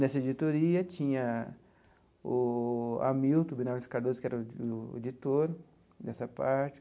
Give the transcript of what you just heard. Nessa editoria tinha o Hamilton Bernardos Cardoso, que era o o editor dessa parte.